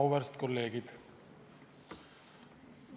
Auväärt kolleegid!